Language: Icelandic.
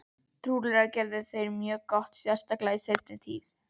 Trúlega gerðu þeir það mjög gott, sérstaklega í seinni tíð.